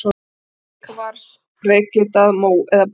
Reykkvars, reyklitað, mó- eða brúnleitt.